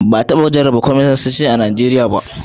Ba a taba jarraba tsarin kwamanisanci a Najeriya ba.